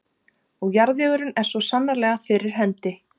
Og jarðvegurinn er svo sannarlega fyrir hendi.